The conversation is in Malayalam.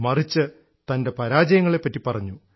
മറിച്ച് തൻറെ പരാജയങ്ങളെപറ്റി പറഞ്ഞു